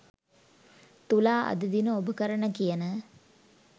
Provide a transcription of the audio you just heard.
තුලා අද දින ඔබ කරන කියන